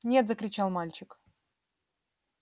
нет закричал мальчик